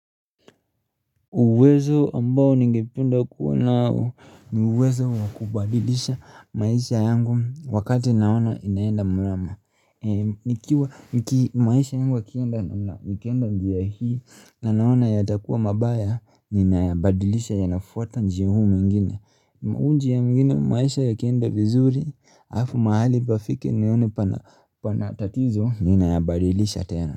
Uwezo ambao ningependa kuwa nao ni uwezo wa kubadilisha maisha yangu wakati naona inaenda mlama. Maisha yangu ukienda njia hii na naona yatakuwa mabaya ninayabadilisha yanafwata njia huu mingine. Huu njia mingine maisha yakienda vizuri hafu mahali pafike niyaone pana tatizo ninayabadilisha tena.